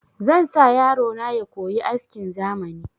Zan sa yaro na ya koyi askin zamani